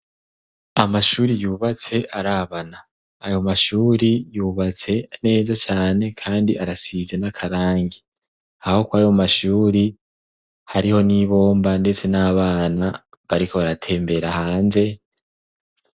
amashuri yubatse arabana ayo mashuri yubatse neza cyane kandi arasize n'akarangi aho ko ayo mashuri hariho n'ibomba ndetse n'abana bariko baratembera hanze